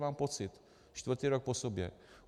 Mám pocit, čtvrtý rok po sobě.